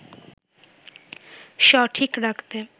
সঠিক রাখতে